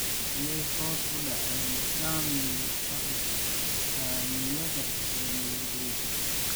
Miyay hoos u dhaceen saamigii sarifka saamiyada ee nairobi?